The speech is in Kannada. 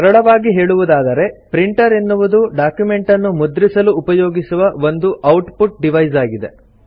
ಸರಳವಾಗಿ ಹೇಳುವುದಾದರೆ ಪ್ರಿಂಟರ್ ಎನ್ನುವುದು ಡಾಕ್ಯುಮೆಂಟನ್ನು ಮುದ್ರಿಸಲು ಉಪಯೋಗಿಸುವ ಒಂದು ಔಟ್ ಪುಟ್ ಡಿವೈಸ್ ಆಗಿದೆ